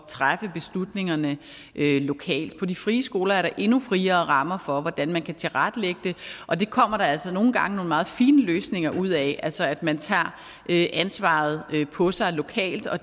træffe beslutningerne lokalt på de frie skoler er der endnu friere rammer for hvordan man kan tilrettelægge det og det kommer der altså nogle gange nogle meget fine løsninger ud af altså at man tager ansvaret på sig lokalt og